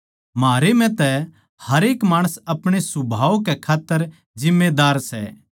म्हारे म्ह तै हरेक माणस अपणे सुभाव के खात्तर जिम्मेदार सै